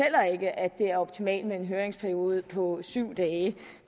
det er optimalt med en høringsperiode på syv dage